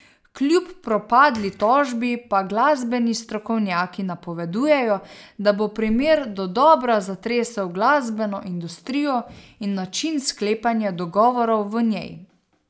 Kljub propadli tožbi pa glasbeni strokovnjaki napovedujejo, da bo primer dodobra zatresel glasbeno industrijo in način sklepanja dogovorov v njej.